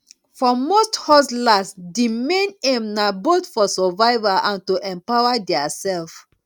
for most hustlers di main aim na both for survival and to empower their self